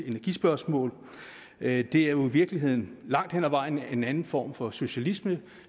energispørgsmålet det det er jo i virkeligheden langt hen ad vejen en anden form for socialisme